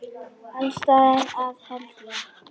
Alls staðar að held ég.